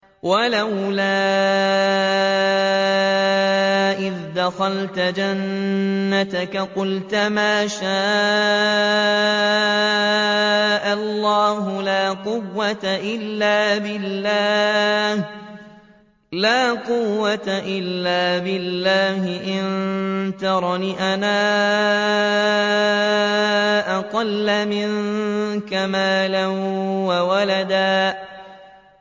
وَلَوْلَا إِذْ دَخَلْتَ جَنَّتَكَ قُلْتَ مَا شَاءَ اللَّهُ لَا قُوَّةَ إِلَّا بِاللَّهِ ۚ إِن تَرَنِ أَنَا أَقَلَّ مِنكَ مَالًا وَوَلَدًا